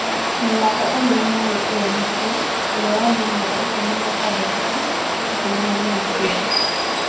"Mũrũ wakwa eerire mwarĩ ũrĩa mũkũrũ, ũrĩa warĩ na mĩaka ikũmi na ĩtandatũ tu, atĩ nyina nĩ akuĩte".